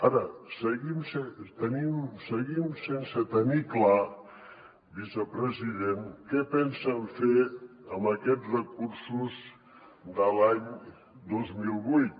ara seguim sense tenir clar vicepresident què pensen fer amb aquests recursos de l’any dos mil vuit